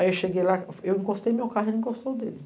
Aí eu cheguei lá, eu encostei no meu carro e ele encostou nele.